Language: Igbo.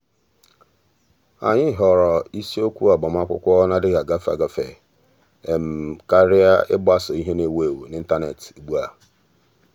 ànyị́ họ̀ọ̀rọ̀ isiokwu ágbámàkwụ́kwọ́ nà-adị́ghị́ ágafe ágafe kàrị́a ị́gbásò ìhè nà-èwú éwú n’ị́ntánétị̀ ugbu um a.